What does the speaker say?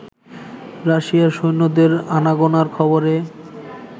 রাশিয়ার সৈন্যদের আনাগোনার খবরে